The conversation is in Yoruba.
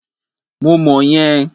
Mo mọ̀ yẹn.